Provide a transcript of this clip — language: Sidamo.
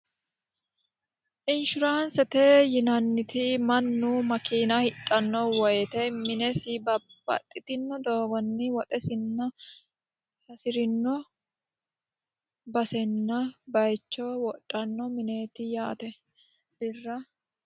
inshuraansete yinanniti, mannu makiina hidhanno woyite minesi babbaxitino doogonni woxesinna hirino basenna bayicho wodhanno mineeti yaate birra